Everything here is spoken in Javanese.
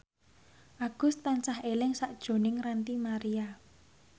Agus tansah eling sakjroning Ranty Maria